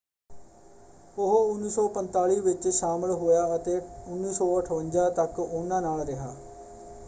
ਉਹ 1945 ਵਿੱਚ ਸ਼ਾਮਲ ਹੋਇਆ ਅਤੇ 1958 ਤੱਕ ਉਹਨਾਂ ਨਾਲ ਰਿਹਾ।